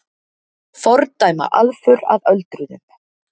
Fordæma aðför að öldruðum